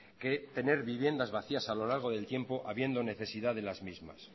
que tener viviendas vacías a lo largo del tiempo habiendo necesidad de las mismas